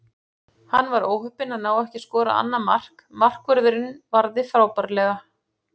Hann var óheppinn að ná ekki að skora annað mark, markvörðurinn varði frábærlega.